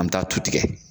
An bɛ taa tu tigɛ